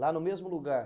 Lá no mesmo lugar?